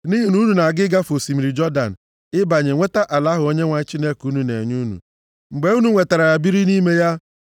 Nʼihi na unu na-aga ịgafe osimiri Jọdan, ịbanye nweta ala ahụ Onyenwe anyị Chineke unu na-enye unu. Mgbe unu nwetara ya biri nʼime ya,